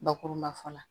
Bakuruba fɔ la